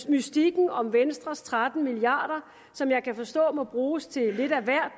mystikken om venstres tretten milliarder som jeg kan forstå må bruges til lidt af hvert